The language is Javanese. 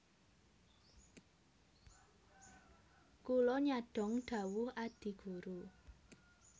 Kula nyadhong dhawuh Adi Guru